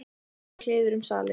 Þá fór kliður um salinn.